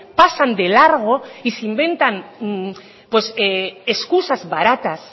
pasan de largo y se inventan pues excusa baratas